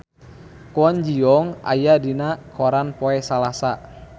Kwon Ji Yong aya dina koran poe Salasa